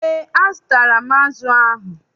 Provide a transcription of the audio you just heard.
EÉ, azụtara m azụ ahụ.